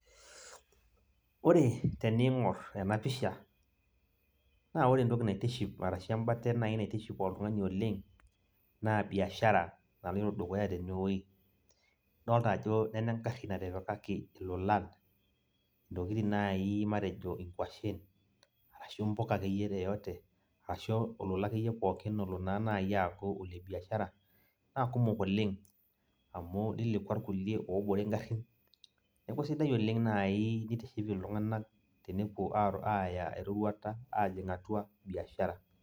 Ore teniing'or enapisha, naa ore entoki naitiship arashu embate nai naitiship oltung'ani oleng, naa biashara naloito dukuya tenewoi. Idolta ajo nena egarri natipikaki ilolan, intokiting nai matejo inkwashen, ashu mpuka akeyie yoyote ,ashu olola akeyeie pookin olo naa nai aaku ole biashara, nakumok oleng, amu lilekwa irkulie obore igarrin, neeku sidai oleng nai nitiship iltung'anak tenepuo aaya eroruata ajing' atua biashara.